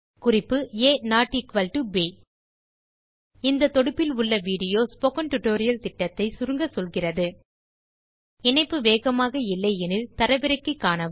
குறிப்பு ஆ ப் இந்த தொடுப்பில் உள்ள வீடியோ ஸ்போக்கன் டியூட்டோரியல் திட்டத்தை சுருங்க சொல்கிறது httpspokentutorialorgWhat is a Spoken Tutorial இணைப்பு வேகமாக இல்லை எனில் தரவிறக்கி காணுங்கள்